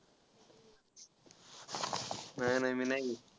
नाही नाही. मेनाही घेत